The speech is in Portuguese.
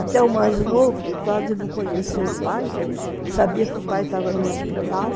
Até o mais novo, que quase não conhecia o pai, sabia que o pai estava no hospital.